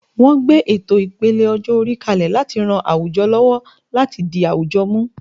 Wọ́n gbé ètò ìpele ọjọ́-orí kalẹ̀ láti ran àwùjọ lọ́wọ́ láti di àwùjọ mú.